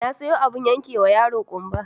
Na sayo abin yankewa yaro ƙumba